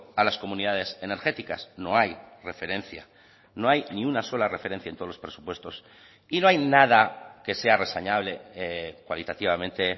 a las comunidades energéticas no hay referencia no hay ni una sola referencia en todos los presupuestos y no hay nada que sea reseñable cualitativamente